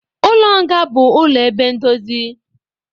Ụlọ nga bụ ụlọ ebe ndozi